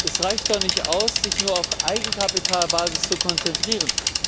Es reicht doch nicht aus, sich nur auf die Eigenkapitalbasis zu konzentrieren.